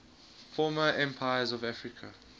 former empires of africa